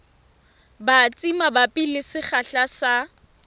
batsi mabapi le sekgahla sa